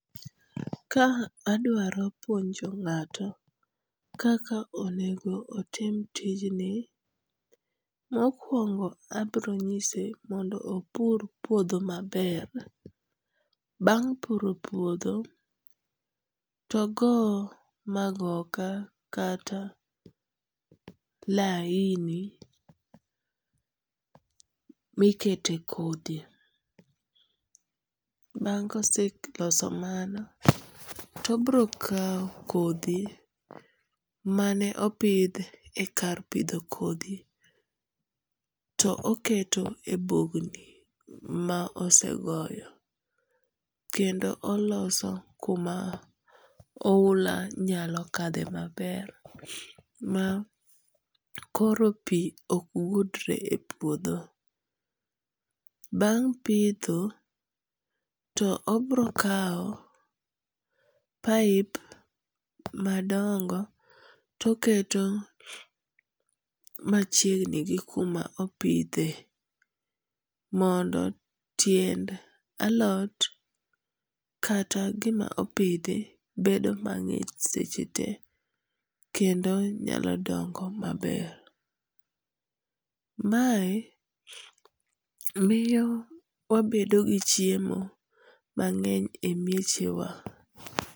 Ka adwaro puonjo ng'ato kaka onego otim tijni, mokuongo obronyise mondo opur puodho maber, bang' puro puotho to ogo magoka kata laini mikete e kodhi, bang' ka oseloso mano to obiro kawo kodhi mane opith e kar pitho kothi to oketo e bugni ma osegoyo kendo oloso kuma ohula nyalo kadhe maber ma koro pi ok gudre e puotho. Bang' pitho to obrokawo pipe madongo to oketo machiegni gi kuma chiegni gi kuma odwa pithe mondo tiend alot kata gima opithi bedo mang'ich sechete kendo nyalo dongo. mae miyo wabedo gi chiemo e miyechewa